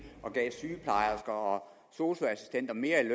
og gav sygeplejersker og sosu assistenter mere i